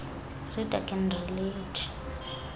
reader can relate